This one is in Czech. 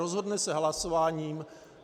Rozhodne se hlasováním.